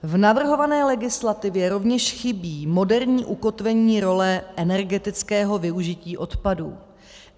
V navrhované legislativě rovněž chybí moderní ukotvení role energetického využití odpadů.